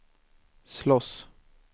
slåss